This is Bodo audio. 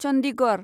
चन्दिगड़